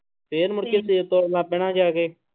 ਫਿਰ ਮੁੜਕੇ ਸੇਬ ਤੋੜਨ ਲੱਗ ਪੈਣਾ ਜਾ ਕੇ।